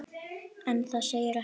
En það segir ekki allt.